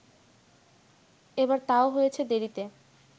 এবার তাও হয়েছে দেরিতে